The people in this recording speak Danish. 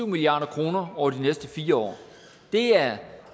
milliard kroner over de næste fire år det er